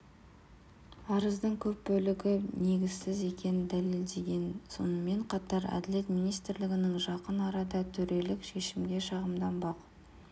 арыздың көп бөлігі негізсіз екенін дәлелдеген сонымен қатар әділет министрлігінің жақын арада төрелік шешімге шағымданбақ